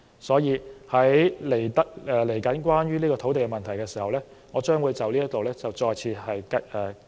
所以，隨後討論土地問題時，我將會就此再次發言。